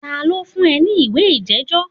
Ta ló fún ẹ ní ìwé ìjẹ́jọ́?